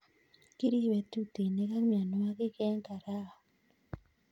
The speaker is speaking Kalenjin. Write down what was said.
Kiribe tutinik ak mianwogik eng' karaon